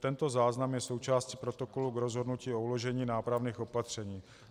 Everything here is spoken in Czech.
Tento záznam je součástí protokolu k rozhodnutí o uložení nápravných opatření.